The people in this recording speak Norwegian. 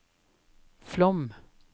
Flåm